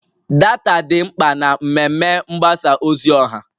Data dị mkpa na mmemme mgbasa ozi ọha